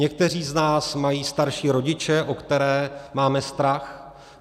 Někteří z nás mají starší rodiče, o které máme strach.